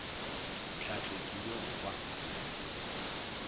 tlhahlo ke ye go kwa